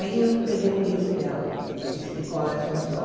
Aí eu peguei um livro dela, esse cólera Sobre o Sol.